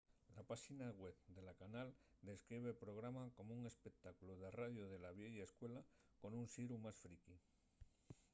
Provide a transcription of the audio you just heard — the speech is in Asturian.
la páxina web de la canal describe’l programa como un espectáculu de radio de la vieya escuela con un xiru más friqui